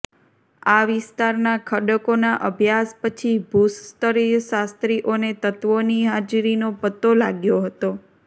આ વિસ્તારના ખડકોના અભ્યાસ પછી ભુસ્તરશાસ્ત્રીઓને તત્ત્વોની હાજરીનો પત્તો લાગ્યો હતો